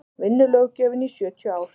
vinnulöggjöfin í sjötíu ár